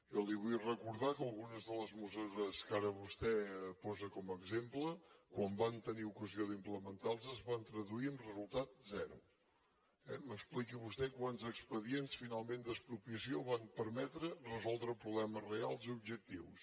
jo li vull recordar que algunes de les mesures que ara vostè posa com a exemple quan van tenir ocasió d’implementar les es van traduir en resultat zero eh m’expliqui vostè quants expedients finalment d’expropiació van permetre resoldre problemes reals objectius